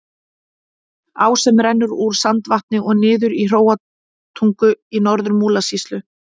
Á sem rennur úr Sandvatni og niður í Hróarstungu í Norður-Múlasýslu.